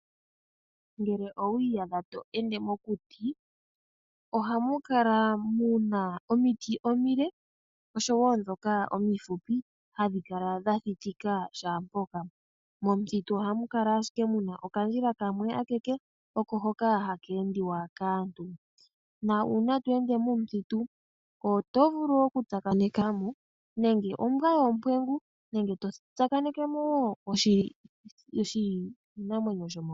Ngele owu iyadha to ende mokuti ohamu kala Omiti omile oshowo ndhoka omihupi hadhi kala dha thitika kehe mpoka . Momithitu ohamu kala ashike muna okandjila kamwe akeke hoka haka endiwa kaantu nuuna to endemo otovulu okutsakanekamo nenge ombwa yoompwengu nenge to tsakanekemo